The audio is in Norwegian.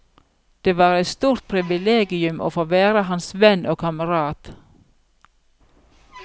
Det var et stort privilegium å få være hans venn og kamerat.